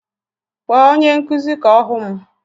Kpọọ onye nkụzi ka ọ hụ m!